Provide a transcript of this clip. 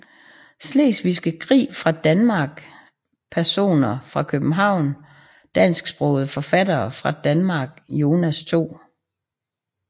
Slesvigske Krig fra Danmark Personer fra København Dansksprogede forfattere fra Danmark Jonas 2